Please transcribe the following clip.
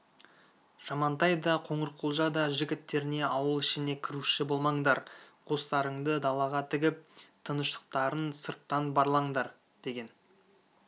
жамантай да қоңырқұлжа да жігіттеріне ауыл ішіне кіруші болмаңдар қостарыңды далаға тігіп тыныштықтарын сырттан барлаңдар деген